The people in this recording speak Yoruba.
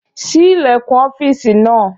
Ṣí ilẹ̀kùn ọ́fìsì náà!